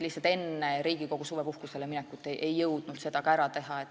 Tõesti, enne Riigikogu suvepuhkusele minekut ei jõudnud seda ära teha.